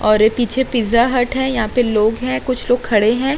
और पीछे Pizza Hut है और यहाँ पे लोग हैं। कुछ लोग खड़े है।